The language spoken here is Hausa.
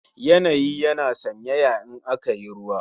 Yanayi yana sanyaya in aka yi ruwa